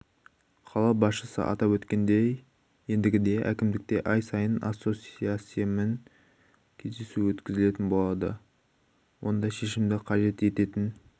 қала басшысы атап өткендей ендігіде әкімдікте ай сайын ассоциациямен кездесу өткізілетін болады онда шешімді қажет ететін